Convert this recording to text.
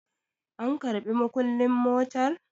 an karɓI mukullin motar?